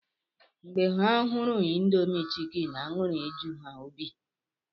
Mgbe ha hụrụ Indomi chikeni aṅụrị eju ha obi